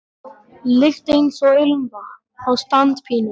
lykt eins og ilmvatn á standpínu.